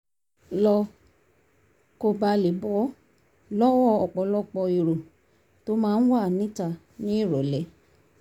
lọ kó bàa lè bọ́ lọ́wọ́ ọ̀pọ̀lọpọ̀ èrò tó máa ń wà níta nírọ̀lẹ́